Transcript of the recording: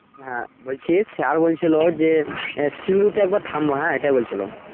হ্যা বলছি sir বলছিলো যে আহ তে একবার থাকবো হ্যা এটাই বলছিলো।